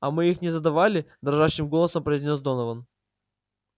а мы их не задавали дрожащим голосом произнёс донован